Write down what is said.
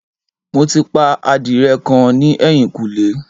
Mo ti pa adìrẹ kan ní ẹ̀yìnkùlé